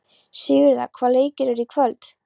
Sigurða, hvaða leikir eru í kvöld?